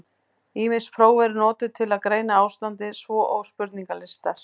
Ýmis próf eru notuð til að greina ástandið, svo og spurningalistar.